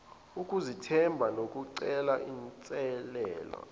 ukuzethemba nokucela inselele